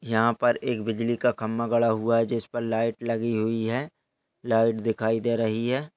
यहाँ पर एक बिजली का खंबा गड़ा हुआ है जिस पर लाइट लगी हुई है लाइट दिखाई दे रही है।